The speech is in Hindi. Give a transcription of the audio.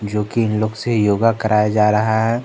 जो कि इन लोग से योगा कराया जा रहा है।